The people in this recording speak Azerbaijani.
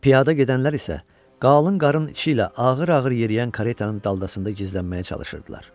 Piyada gedənlər isə qalın qarın içi ilə ağır-ağır yeriyən karetanın daldasında gizlənməyə çalışırdılar.